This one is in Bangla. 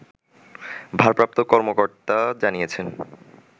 ভারপ্রাপ্ত কর্মকর্তা জানিয়েছেন